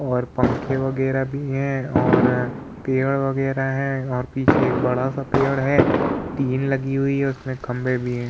और पंखे वगेरा भी हैं और पेर वगेरा हैं और पीछे एक बड़ा सा पेड़ है तीन लगी हुए है उसमें खम्बे भी हैं।